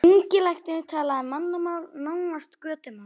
Ungi læknirinn talaði mannamál, nánast götumál.